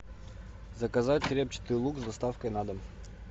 заказать репчатый лук с доставкой на дом